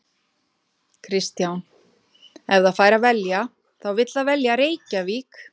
Kristján: Ef það fær að velja þá vill það velja Reykjavík?